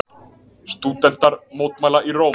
Stúdentar mótmæla í Róm